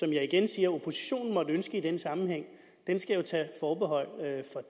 jeg igen siger oppositionen måtte ønske i den sammenhæng skal jo tage forbehold for